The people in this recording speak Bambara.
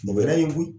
Mɔgɔ wɛrɛ ye koyi